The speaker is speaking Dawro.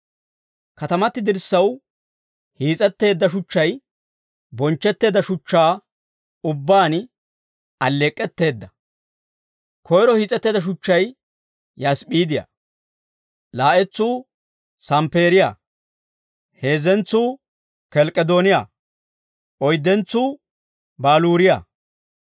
Katamati dirssaw hiis'etteedda shuchchay bonchchetteedda shuchchaa ubbaan alleek'k'etteedda; koyro hiis'etteedda shuchchay yasp'p'iidiyaa; laa'entsuu samppeeriyaa; heezzentsuu kelk'k'edooniyaa; oyddentsuu baluuriyaa;